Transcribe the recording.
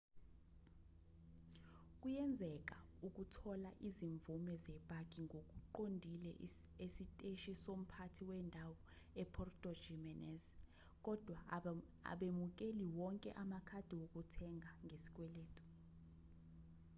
kuyenzeka ukuthola izimvume zepaki ngokuqondile esiteshi somphathi wendawo epuerto jiménez kodwa abemukeli wonke amakhadi wokuthenga ngesikweletu